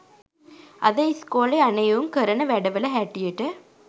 අද ඉස්කෝලෙ යන එවුං කරන වැඩ වල හැටියට